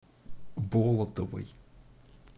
болотовой